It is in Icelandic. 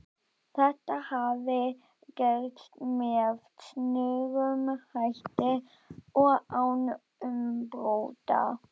Þetta hafði gerst með snöggum hætti og án umbrota.